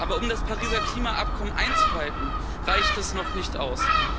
Aber um das Pariser Klimaübereinkommen einzuhalten, reicht das noch nicht aus.